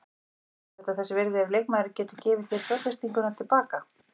Er þetta þess virði ef leikmaðurinn getur gefið þér fjárfestinguna til baka?